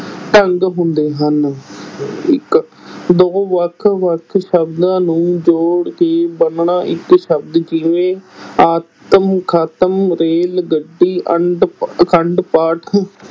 ਢੰਗ ਹੁੰਦੇ ਹਨ ਇੱਕ ਦੋ ਵੱਖ ਵੱਖ ਸ਼ਬਦਾਂ ਨੂੰ ਜੋੜ ਕੇ ਬਣਨਾ ਇੱਕ ਸ਼ਬਦ ਜਿਵੇਂ, ਆਤਮ ਘਾਤ, ਰੇਲ ਗੱਡੀ, ਅੰਡ ਅਖੰਡ ਪਾਠ,